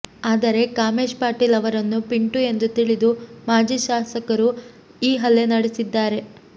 ಆದರೆ ಕಾಮೇಶ್ ಪಾಟೀಲ್ ಅವರನ್ನು ಪಿಂಟು ಎಂದು ತಿಳಿದು ಮಾಜಿ ಶಾಸಕರು ಈ ಹಲ್ಲೆ ನಡೆಸಿದ್ದಾರೆ